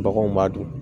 Baganw b'a dun